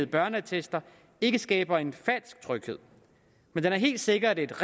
børneattester ikke skaber en falsk tryghed men den er helt sikkert et